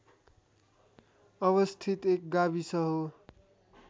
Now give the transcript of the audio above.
अवस्थित एक गाविस हो